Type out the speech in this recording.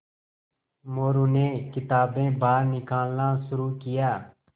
मोरू ने किताबें बाहर निकालना शुरू किया